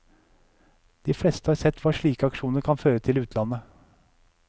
De fleste har sett hva slike aksjoner kan føre til i utlandet.